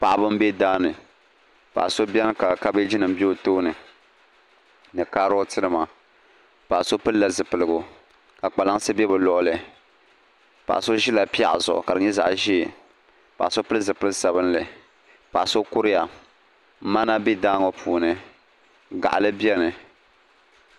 Paɣaba n bɛ daa ni paɣa so bɛni ka kabeeji bɛ o tooni ni karɔti mima paɣa so pili la zipiligu ka kpalansi bɛ bi luɣuli paɣa so zila pɛɣu zuɣu ka di nyɛ zaɣi ʒee paɣa so pili zipiligu sabinli paɣa so kuriya mana bɛ daa ŋɔ puuni gaɣili bɛni.